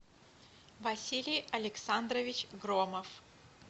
василий александрович громов